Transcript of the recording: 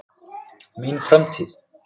Mín framtíð?